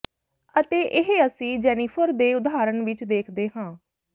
ਅਤੇ ਇਹ ਅਸੀਂ ਜੈਨੀਫ਼ਰ ਦੇ ਉਦਾਹਰਣ ਵਿਚ ਦੇਖਦੇ ਹਾਂ